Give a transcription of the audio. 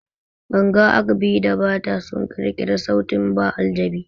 Ganga, agbe, da bata sun ƙirƙiri sautin ba aljabi